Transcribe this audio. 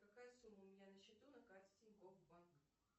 какая сумма у меня на счету на карте тинькофф банк